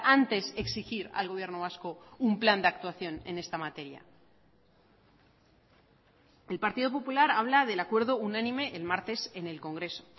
antes exigir al gobierno vasco un plan de actuación en esta materia el partido popular habla del acuerdo unánime el martes en el congreso